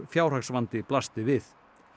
fjárhagsvandi blasti við